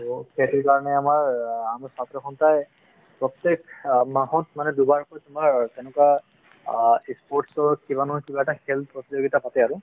সেইটো কাৰণে আমাৰ আমাৰ ছাত্ৰ সন্থাই প্ৰত্যেক অ মাহত মানে দুবাৰ কৈ তোমাৰ তেনেকুৱা অ sports ৰ কিবা নহয় কিবা এটা খেল প্ৰতিযোগিতা পাতে আৰু |